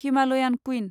Himalayan queen